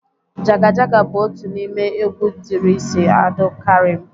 Jaga Jaga bụ otu n'ime egwu Idris Abdulkarim